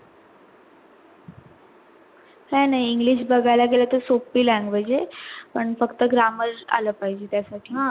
काय नाय बगायला गेलो तर english सोप्पी language आहे पण फक्त grammar आला पाहिजे त्या साठी आह